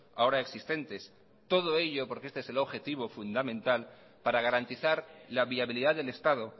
ahora existentes todo ello porque este es objetivo fundamental para garantizar la viabilidad del estado